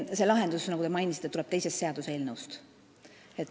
See lahendus, nagu te märkisite, tuleb teisest seaduseelnõust.